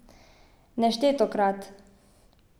Neštetokrat!